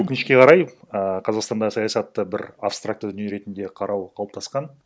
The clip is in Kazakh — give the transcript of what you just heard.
өкінішке қарай ііі қазақстандағы саясатты бір абстрактты дүние ретінде қарау қалыптасқан